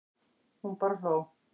Hún bara hló.